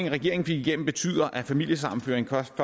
regeringen fik igennem betyder at familiesammenføring først